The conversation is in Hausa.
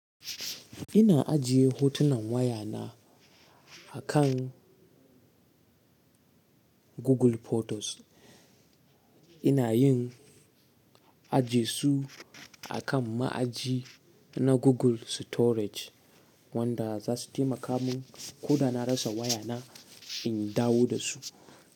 Ina ajiye hotunan waya na akan Google Photos. Ina yin aji su akan ma'aji na Google Storage wanda za su taimaka mun ko da na rasa waya na in dawo da su.